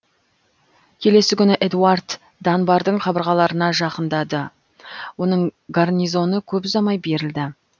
келесі күні эдуард данбардың қабырғаларына жақындады оның гарнизоны көп ұзамай берілді